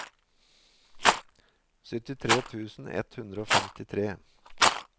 syttitre tusen ett hundre og femtitre